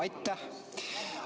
Aitäh!